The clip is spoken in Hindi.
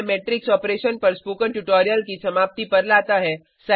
यह हमें मेट्रिक्स ऑपरेशन पर स्पोकन ट्यूटोरियल की समाप्ति पर लाता है